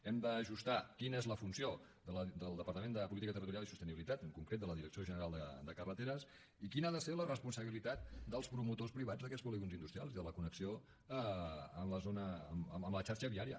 hem d’ajustar quina és la funció del departament de territori i sostenibilitat en concret de la direcció general de carreteres i quina ha de ser la responsabilitat dels promotors privats d’aquests polígons industrials i de la connexió amb la xarxa viària